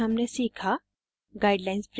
इस tutorial में हमने सीखा